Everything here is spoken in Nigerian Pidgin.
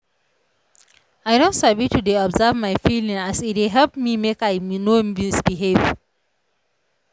i don sabi to dey observe my feelings as e dey help me make i no misbehave